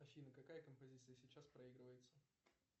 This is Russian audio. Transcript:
афина какая композиция сейчас проигрывается